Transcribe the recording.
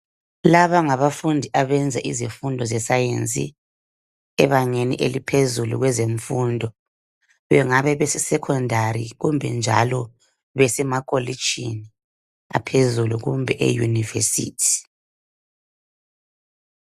Labangabafundi abenza izifundo ze science ebangeni eliphezulu kwezemfundo. Bengabe besesecondary kumbe njalo besemakolitshini aphezulu kumbe euniversity